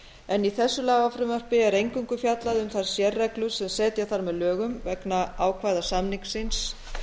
en í þessu lagafrumvarpi er eingöngu fjallað um þær sérreglur sem setja þarf með lögum vegna ákvæða samningsins